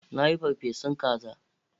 Na yi ferfesun kaza